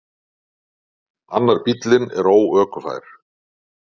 Annar bíllinn er óökufær.